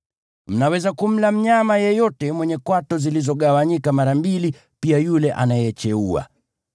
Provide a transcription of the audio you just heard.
Mnaweza kumla mnyama yeyote mwenye kwato zilizogawanyika mara mbili, pia yule anayecheua.